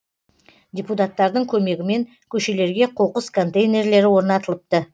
депутаттардың көмегімен көшелерге қоқыс контейнерлері орнатылыпты